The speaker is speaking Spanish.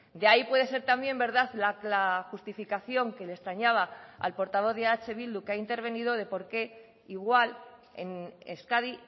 de ahí puede ser también verdad la justificación que le extrañaba al portavoz de eh bildu que ha intervenido de por qué igual en euskadi